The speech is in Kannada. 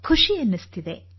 ಖುಷಿ ಎನಿಸುತ್ತದೆ